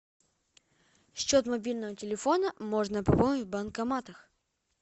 счет мобильного телефона можно пополнить в банкоматах